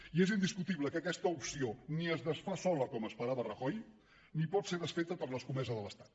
i és indiscutible que aquesta opció ni es desfà sola com esperava rajoy ni pot ser desfeta per l’escomesa de l’estat